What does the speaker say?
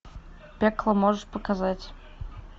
пекло можешь показать